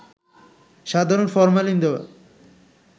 সাধারণত ফরমালিন দেওয়া